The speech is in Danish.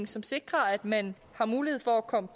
som sikrer at man har mulighed for at komme